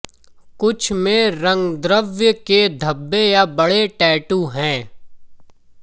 कुछ में रंगद्रव्य के धब्बे या बड़े टैटू हैं